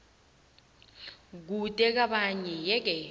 kude kwabanye yeke